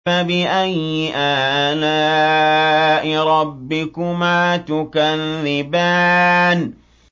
فَبِأَيِّ آلَاءِ رَبِّكُمَا تُكَذِّبَانِ